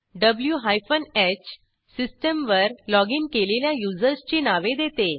V hyphen ह सिस्टीमवर login केलेल्या युजर्सची नावे देते